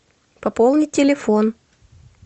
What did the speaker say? пополни телефон